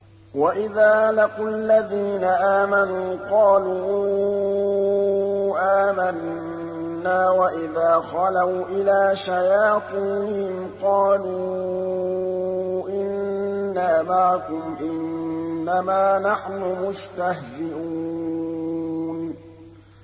وَإِذَا لَقُوا الَّذِينَ آمَنُوا قَالُوا آمَنَّا وَإِذَا خَلَوْا إِلَىٰ شَيَاطِينِهِمْ قَالُوا إِنَّا مَعَكُمْ إِنَّمَا نَحْنُ مُسْتَهْزِئُونَ